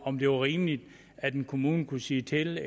om det var rimeligt at en kommune kunne sige til